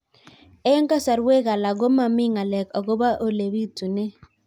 Eng' kasarwek alak ko mami ng'alek akopo ole pitunee